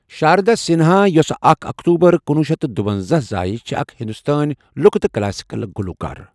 سِنہا یۄسہ اَکھ اکتوبر کُنوہ شیٚتھ تہٕ دُونزاہ زایہِ چھےٚ اَکھ ہِندوستٲنۍ لُکہٕ تہٕ کلاسکل گلوٗکار۔